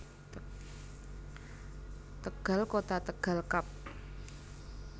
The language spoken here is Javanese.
Tegal Kota Tegal Kab